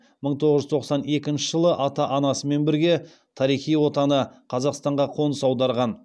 мың тоғыз жүз тоқсан екінші жылы ата анасымен бірге тарихи отаны қазақстанға қоныс аударған